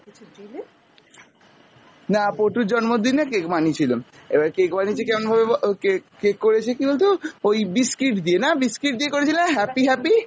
না পোটুর জন্মদিনে cake বানিয়েছিল, এবার cake বানিয়েছে কেমন ভাবে ব~ cake cake করেছে কী বলতো ওই biscuit দিয়ে না, biscuit দিয়ে করেছিলে না happy happy!